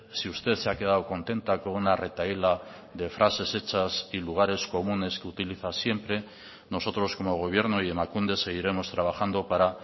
si usted se ha quedado contenta con una retahíla de frases hechas y lugares comunes que utiliza siempre nosotros como gobierno y emakunde seguiremos trabajando para